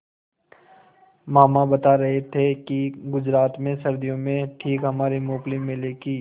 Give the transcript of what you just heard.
मामा बता रहे थे कि गुजरात में सर्दियों में ठीक हमारे मूँगफली मेले की